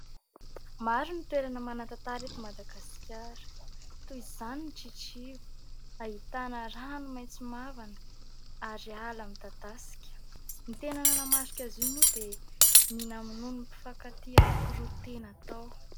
Maro ny toerana manan-tantara eto Madagasikara, toy izany ny Tritriva. Ahitana rano maintso mavana ary ala midadasika. Ny tena nanamarika azy io moa dia ny namonoan'ny mpifankatia anankiroa tena tao.